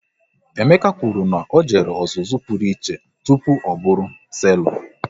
Emeka kwụrụ na ọ jere ọzụzụ pụrụ iche tụpụ ọ bụrụ selọ